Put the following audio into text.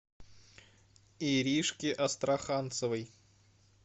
иришке астраханцевой